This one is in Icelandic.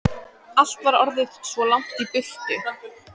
Allt var orðið svo langt í burtu.